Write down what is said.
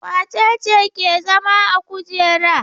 Wace ce ke zama a kujera?